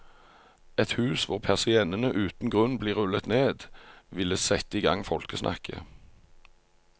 Et hus hvor persiennene uten grunn blir rullet ned ville sette i gang folkesnakket.